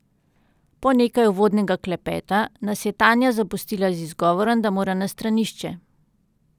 Po nekaj uvodnega klepeta, nas je Tanja zapustila z izgovorom, da mora na stranišče.